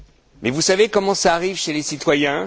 Mais vous savez comment cela arrive chez les citoyens?